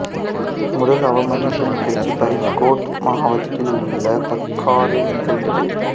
முதல் அவமதிப்பு நிகழ்ச்சி ஃபரீத்கோட் மாவட்டத்தில் உள்ள பர்காரில் நிகழ்ந்தது